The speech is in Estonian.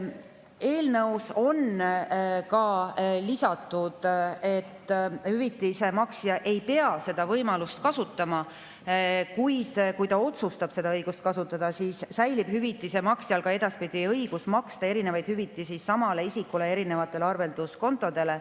Eelnõusse on lisatud, et hüvitise maksja ei pea seda võimalust kasutama, kuid kui ta otsustab seda kasutada, siis säilib hüvitise maksjal ka edaspidi õigus maksta samale isikule erinevaid hüvitisi erinevatele arvelduskontodele.